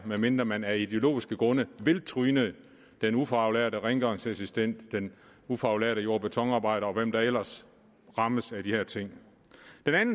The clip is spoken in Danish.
medmindre man af ideologiske grunde vil tryne den ufaglærte rengøringsassistent den ufaglærte jord og betonarbejder og hvem der ellers rammes af de her ting